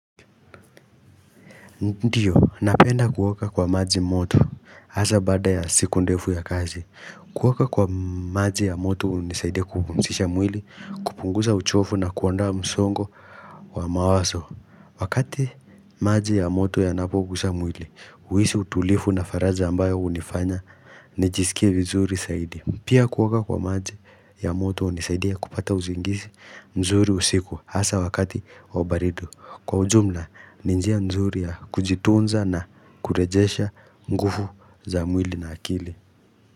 Ndiyo, napenda kuoga kwa maji moto, hasa baada ya siku ndefu ya kazi. Kuwaka kwa maji ya moto hunisaidia kupumzisha mwili, kupunguza uchofu na kuondoa msongo wa mawazo. Wakati maji ya moto yanapoguza mwili, huhisi utulivu na faraja ambayo hunifanya, nijisikie vizuri zaidi. Pia kuoga kwa maji ya moto hunisaidia kupata usingizi nzuri usiku, hasa wakati wa baridi. Kwa ujumla ni njia nzuri ya kujitunza na kurejesha nguvu za mwili na akili.